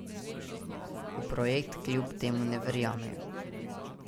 V projekt kljub temu verjamejo.